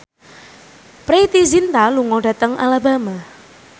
Preity Zinta lunga dhateng Alabama